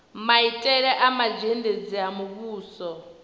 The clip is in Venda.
maitele a mazhendedzi a muvhuso